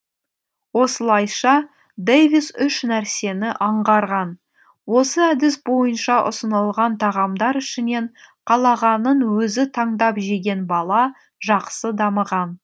осылайша дэвис үш нәрсені аңғарған осы әдіс бойынша ұсынылған тағамдар ішінен қалағанын өзі таңдап жеген бала жақсы дамыған